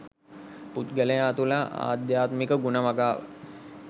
පුද්ගලයා තුළ ආධ්‍යාත්මික ගුණ වගාව